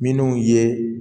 Minnu ye